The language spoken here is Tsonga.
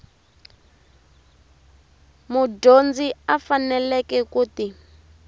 mudyondzi a faneleke ku ti